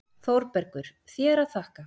ÞÓRBERGUR: Þér að þakka!